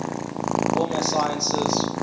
formal sciences